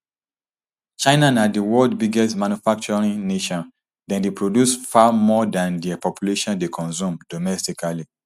china na di world biggest manufacturing nation dem dey produce far more dan dia population dey consume domestically